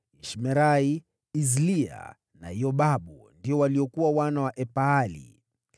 Ishmerai, Izlia na Yobabu ndio waliokuwa wana wa Elpaali.